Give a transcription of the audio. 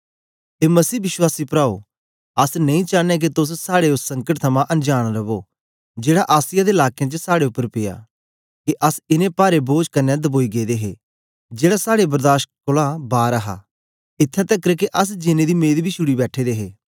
ए मसीह विश्वासी प्राओ अस नेई चानयां के तोस साड़े ओस संकट थमां अनजांन रवो जेड़ा आसिया दे लाकें च साड़े उपर पिया के अस इनें पारे बोझ कन्ने दबोई गेदे हे जेड़ा साड़े बर्दाश कोलां बार हा इत्थैं तकर के अस जीनें दी मेंद बी छुड़ी बैठे दे हे